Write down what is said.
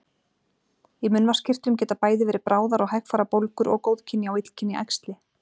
Í munnvatnskirtlum geta bæði verið bráðar og hægfara bólgur og góðkynja og illkynja æxli.